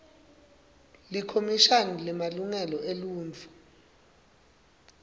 likhomishani lemalungelo eluntfu